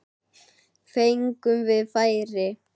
Fengum við færi?